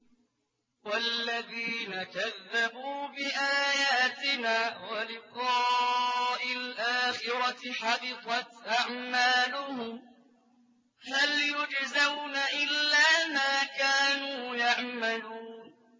وَالَّذِينَ كَذَّبُوا بِآيَاتِنَا وَلِقَاءِ الْآخِرَةِ حَبِطَتْ أَعْمَالُهُمْ ۚ هَلْ يُجْزَوْنَ إِلَّا مَا كَانُوا يَعْمَلُونَ